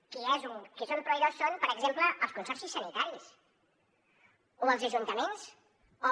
qui són proveïdors ho són per exemple els consorcis sanitaris o els ajuntaments o